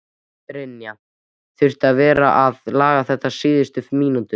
Brynja: Þurftirðu að vera að laga þetta á síðustu mínútunum?